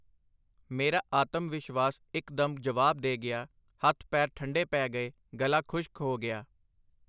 ਮੇਰਾ ਆਤਮ-ਵਿਸ਼ਵਾਸ ਇਕ ਦਮ ਜਵਾਬ ਦੇ ਗਿਆ, ਹੱਥ ਪੈਰ ਠੰਢੇ ਪੈ ਗਏ, ਗਲਾ ਖੁਸ਼ਕ ਹੋ ਗਿਆ.